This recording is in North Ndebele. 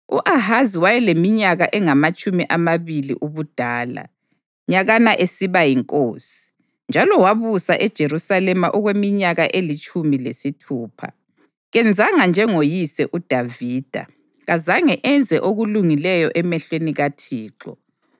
U-Ahazi wayeleminyaka engamatshumi amabili ubudala nyakana esiba yinkosi, njalo wabusa eJerusalema okweminyaka elitshumi lesithupha. Kenzanga njengoyise uDavida, kazange enze okulungileyo emehlweni kaThixo.